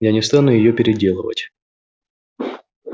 я не стану её переделывать